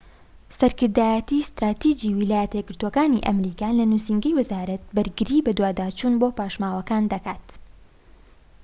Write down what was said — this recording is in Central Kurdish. سەرکردایەتی ستراتیجی ویلایەتە یەکگرتووەکانی ئەمریکا لە نووسینگەی وەزارەتی بەرگری بەدواداچوون بۆ پاشماوەکان دەکات